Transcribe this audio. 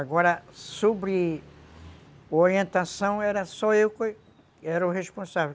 Agora, sobre orientação, era só eu que era o responsável.